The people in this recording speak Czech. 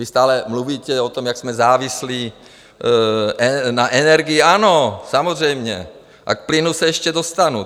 Vy stále mluvíte o tom, jak jsme závislí na energiích - ano, samozřejmě - a k plynu se ještě dostanu.